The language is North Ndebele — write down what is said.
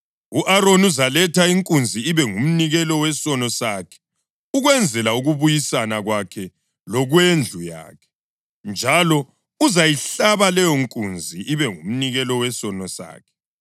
U-Aroni uzaletha inkunzi ibe ngumnikelo wesono sakhe ukwenzela ukubuyisana kwakhe lokwendlu yakhe, njalo uzayihlaba leyonkunzi ibe ngumnikelo wesono sakhe.